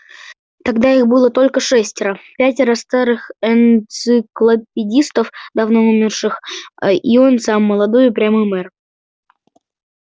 тогда их было только шестеро пятеро старых энциклопедистов давно умерших а и он сам молодой упрямый мэр